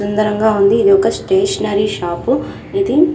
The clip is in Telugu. సుందరంగా ఉంది ఇది ఒక స్టేషనరీ షాపు ఇది.